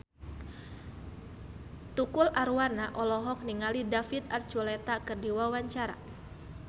Tukul Arwana olohok ningali David Archuletta keur diwawancara